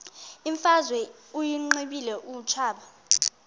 imfazwe uyiqibile utshaba